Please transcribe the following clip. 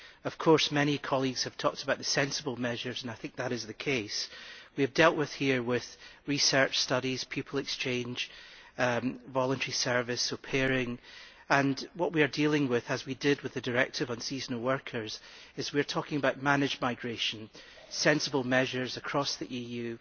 Of course many colleagues have talked about these being sensible measures and I think that is the case. We have dealt here with research studies, people exchange, voluntary service, au pairing. What we are doing, as we did with the directive on seasonal workers, is to talk about managed migration, sensible measures across the EU